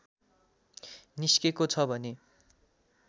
निस्केको छ भने